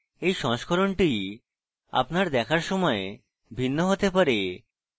এই সংস্করণটি আপনার দেখার সময় ভিন্ন হতে পারে